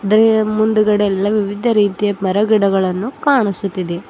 ಮುಂದಗಡೆ ಎಲ್ಲ ವಿವಿಧ ರೀತಿಯ ಮರಗಿಡಗಳನ್ನು ಕಾಣಿಸುತ್ತಿದೆ.